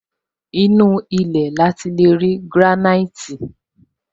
Inú ilé ní ati leri granite